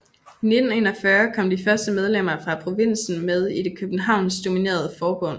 I 1941 kom de første medlemmer fra provinsen med i det københavnsk dominerede forbund